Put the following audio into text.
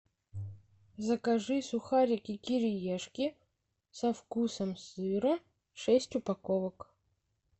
закажи сухарики кириешки со вкусом сыра шесть упаковок